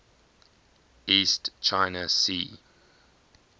east china sea